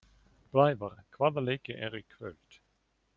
Blævar, hvaða leikir eru í kvöld?